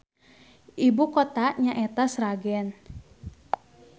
Ibukotana nyaeta Sragen.